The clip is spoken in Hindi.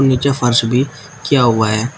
नीचे फर्श भी किया हुआ है।